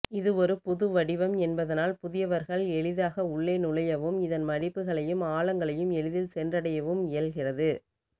இது ஒரு புதுவடிவம் என்பதனால் புதியவர்கள் எளிதாக உள்ளே நுழையவும் இதன் மடிப்புகளையும் ஆழங்களையும் எளிதில் சென்றடையவும் இயல்கிறது